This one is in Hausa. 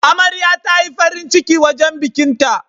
Amarya tayi farin ciki wajan bikin ta